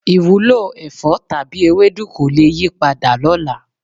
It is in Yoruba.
Ìwúlò ẹ̀fọ́ tàbí ewédú kò le yípadà lọ́la.